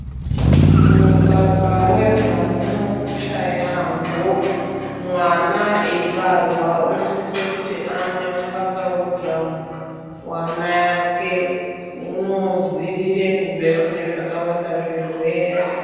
Mukaka wezamu unokosha yambo, mwana eibarwa unosisa kuti amwe mukaka wezamu wamai ake unodziirire kubve kune zvakawanda zvirwere.